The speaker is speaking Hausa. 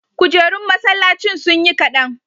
kujerun masallacin sunyi kadan